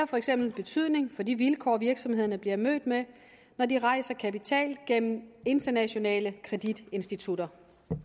for eksempel betydning for de vilkår virksomhederne bliver mødt med når de rejser kapital gennem internationale kreditinstitutter